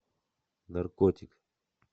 наркотик